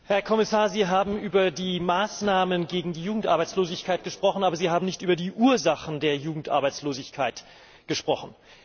Herr Präsident! Herr Kommissar, Sie haben über die Maßnahmen gegen die Jugendarbeitslosigkeit gesprochen, aber Sie haben nicht über die Ursachen der Jugendarbeitslosigkeit gesprochen.